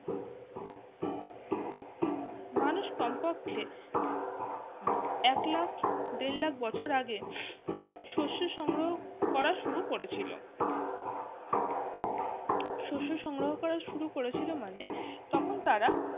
মানুষ কমপক্ষে এক লাখ দেড় লাখ বছর আগে সরষে সংগ্রহ করা শুরু করেছিল শোষণ সংগ্রহ করা শুরু করেছিল মানে তখন তারা